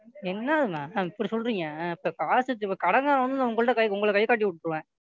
என்ன Ma'am இப்படி சொல்றீங்க? அப்ப காசு அப்ப கடன்காரன் வந்து உங்கள்ட்ட உங்களையை கைகாட்டி விட்டுடுவேன்.